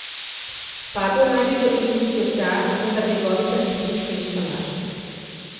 Padlo naj bi v Indijski ocean, vendar njegovih razbitin še niso našli.